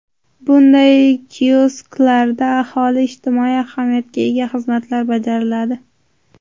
Bunday kiosklarda aholiga ijtimoiy ahamiyatga ega xizmatlar bajariladi.